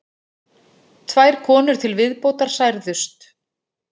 Tvær konur til viðbótar særðust